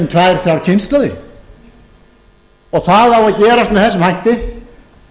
tvær þrjár kynslóðir það á að gerast með þessum hætti